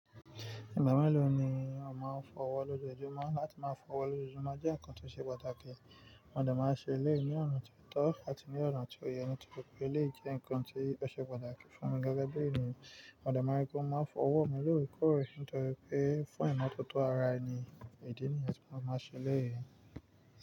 Ìgbà mélòó ni o máa ń fọwọ́ lójoojúmọ́? Láti máa fọwọ́ lójoojúmọ́ jẹ́ ǹkan tó ṣe pàtàkì. Mo dé máa ṣe eléyí ní ọ̀nà tó tọ́ àti ní ọ̀nà tí ó yẹ, nítorí pé ó lè jẹ́ ǹkan tó ṣe pàtàkì fún mi gẹ́gẹ́ bí ènìyàn. Mo dé máa rí pé ó máa ń fọ ọwọ́ mi lóòrèkóòrè nítorí pé fún ìmọ́tótó ara ẹni, ìdí nìyẹn tí a máa ṣe léèyí.